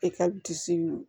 E ka disi